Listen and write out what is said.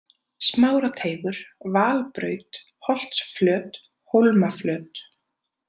Smárateigur, Valbraut, Holtsflöt, Hólmaflöt